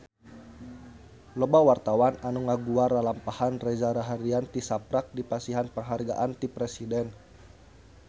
Loba wartawan anu ngaguar lalampahan Reza Rahardian tisaprak dipasihan panghargaan ti Presiden